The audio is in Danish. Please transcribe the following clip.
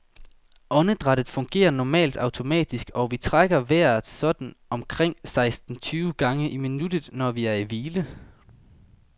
Åndedrættet fungerer normalt automatisk, og vi trækker vejret sådan omkring seksten tyve gange i minuttet, når vi er i hvile.